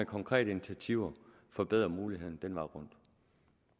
konkrete initiativer forbedre mulighederne den vej rundt